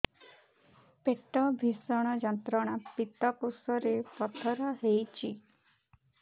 ପେଟ ଭୀଷଣ ଯନ୍ତ୍ରଣା ପିତକୋଷ ରେ ପଥର ହେଇଚି